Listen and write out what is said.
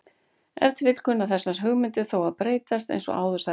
Ef til vill kunna þessar hugmyndir þó að breytast eins og áður sagði.